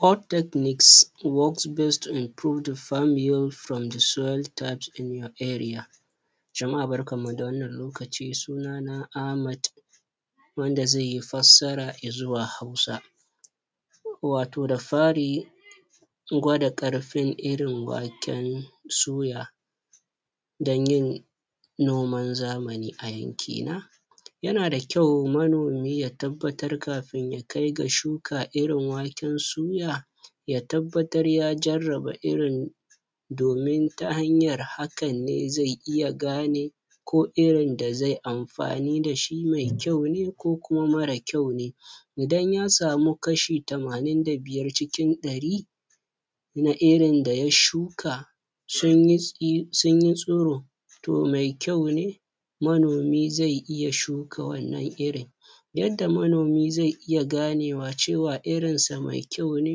hot techniques work best to improve from the soil types in our area jama'a barkan mu da wannan lokaci sunana Ahmad wanda zaiyi fassara izuwa hausa wato da fari gwada karfin irin waken um suya danyin noman zamani a yanki na yana da kyau manomi ya tabbatar kafin ya kai ga shuka irin waken suya ya tabbatar ya jarraba irin domin ta hanyar hakan ne zai iya gane ko irin da zai amfani dashi mai kyau ne ko kuma mara kyau ne, idan yasa mu kashi tamanin da biyar cikin dari na irin daya shuka sunyi tsi tsiro to mai kyau ne manomi zai iya shuka wannan irin yadda manomi zai iya ganewa cewa irinsa mai kyau ne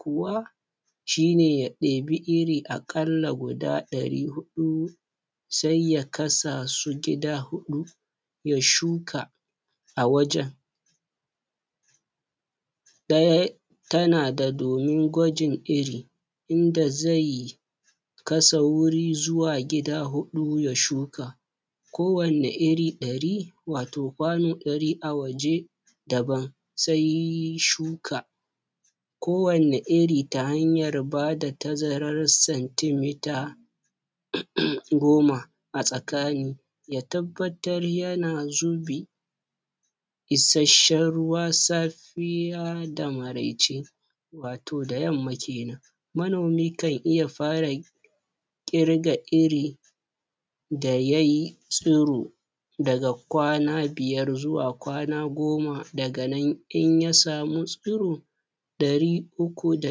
kuwa shine ya debi iri akalla guda dari hudu sai ya kasasu gida hudu ya shuka a wajan daya tana da domin gwajin iri inda zai um kasa wuri zuwa gida hudu ya shuka ko wanne iri dari wato kwano dari a waje daban sai um shuka ko wanne iri ta hanyar bada tazararsa sentimeter goma a tsakani ya tabbatar yana zubi ishasshan ruwa um safiya da maraice wato da yamma kenan manomi kan iya fara kirga iri da yay tsiro daga kwana biyar zuwa kwana goma daga nan in yasa mu tsiro dari uku da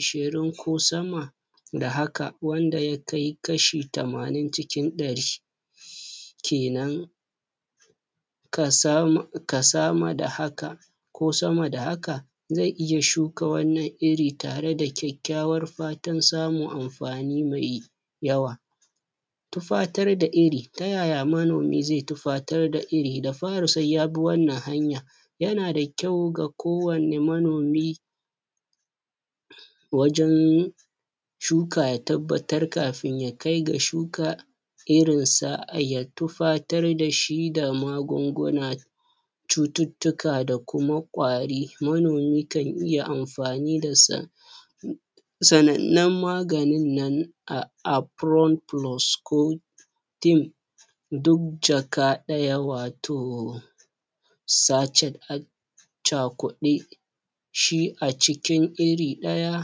ishirin ko sama da haka wanda ya kai kashi tamanin cikin dari um kenan kasama da haka ko sama da haka zai iya shuka wannan iri tare da kyakyawar fatan samun amfani mai yawa, tufatar da iri taya ya manomi zai tufatar da iri da fari sai ya bi wannan hanya yana da kyau ga kowanne manomi um wajan shuka ya tabbatar kafin ya kai ga shuka um irinsa ya tufar dashi da magunguna cututtuka da kuma kwari manomi kan iya amfani dasa um sanannan maganin nan a duk jaka daya wato sechet um a cakude shi acikin iri daya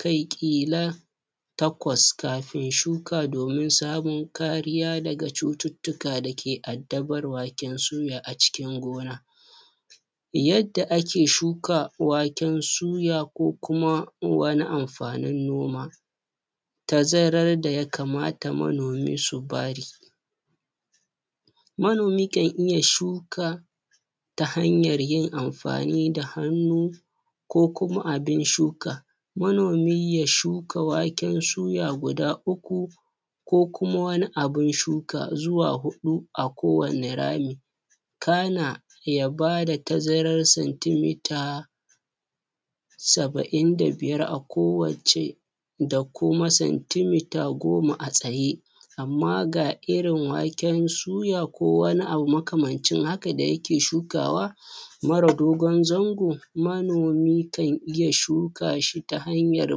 kai kila takwas kafin shuka domin samun kariya daga cututtuka dake addabar waken suya a cikin gona, yadda ake shuka waken suya ko kuma wani amfanin noma tazarar daya kamata manomi su bari manomi kan iya shuka ta hanyar yin amfani da hannu ko kuma abin shuka manomi ya shuka waken suya guda uku ko kuma wani abun shuka zuwa hudu a kowanne rami kana ya bada tazarar sentimeter saba'in da biyar a kowacce da kuma sentimeter goma a tsaye amma ga irin waken suya ko wane abu makamancin haka da yake shukawa mara dogon zango manomi kan iya shukashi ta hanyar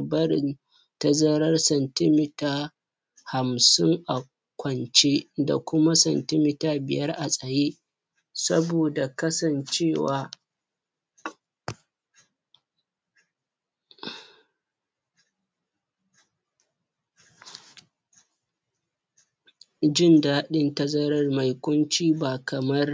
barin tazarar sentimeter hamshin a kwace da kuma senti meter [cs[ biyar a tsaye saboda kasance wa jindadin tazarar mai kunce ba kamar